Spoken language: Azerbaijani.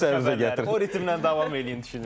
O ritmlə davam eləyin, düşünürəm.